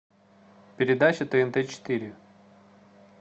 передача тнт четыре